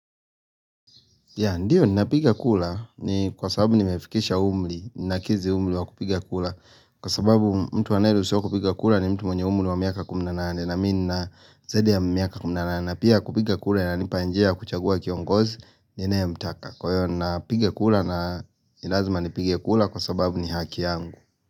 Ya ndio napiga kura ni kwa sababu nimefikisha umri, ninakizi umri wa kupiga kura Kwa sababu mtu anaye ruhusiwa kupiga kura ni mtu mwenye umri wa miaka kumi na nane na mimi nina zaidi ya miaka kumi na nane. Na pia kupiga kura inanipa njia ya kuchagua kiongozi ninayemtaka. Kwa hiyo ninapiga kura na ni lazima nipige kura kwa sababu ni haki yangu.